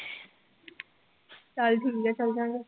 ਚੱਲ ਠੀਕ ਆ ਚਲੇ ਜਾਵਾਂਗੇ